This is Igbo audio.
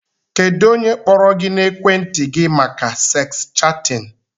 Kedụ ónyé kpọrọ gị n'ekwenti gị màkà seks chatin?